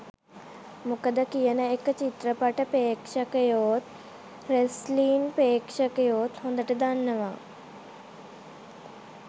මොකද කියන එක චිත්‍රපට ප්‍රේක්ෂකයොත් රෙස්ලින් ප්‍රේක්ෂකයොත් හොඳට දන්නවා.